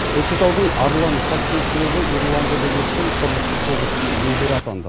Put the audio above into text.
көкшетаудың арлан хоккей клубы ирландияда өткен құрлықтық кубоктің иегері атанды